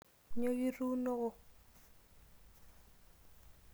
Nyoo kituunoko?